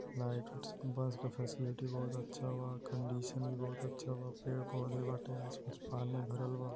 Light bus के facility बहुत अच्छा बा कंडीशन भी बहुत अच्छा बा। पेड़-पौधे बाटे आस-पास पानी भरल बा।